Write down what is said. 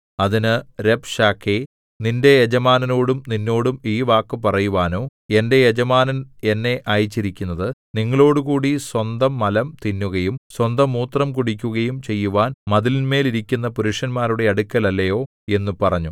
അതിന് രബ്ശാക്കേ നിന്റെ യജമാനനോടും നിന്നോടും ഈ വാക്ക് പറയുവാനോ എന്റെ യജമാനൻ എന്നെ അയച്ചിരിക്കുന്നത് നിങ്ങളോടുകൂടി സ്വന്തമലം തിന്നുകയും സ്വന്തമൂത്രം കുടിക്കുകയും ചെയ്യുവാൻ മതിലിന്മേൽ ഇരിക്കുന്ന പുരുഷന്മാരുടെ അടുക്കൽ അല്ലയോ എന്നു പറഞ്ഞു